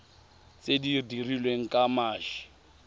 tse di dirilweng ka mashi